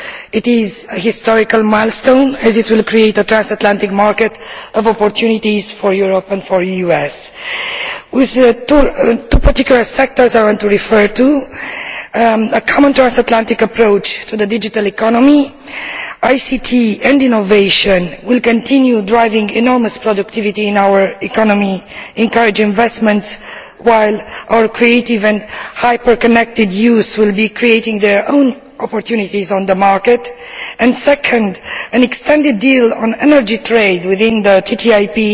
It is a historic milestone, as it will create a transatlantic market of opportunities for Europe and the US. With the two particular sectors I want to refer to, firstly a common transatlantic approach to the digital economy, ICT and innovation will continue driving enormous productivity in our economy, encouraging investment, while our creative and hyper connected youth will be creating their own opportunities on the market and secondly, an extended deal on energy trade within the TTIP